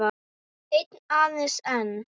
Einn, aðeins einn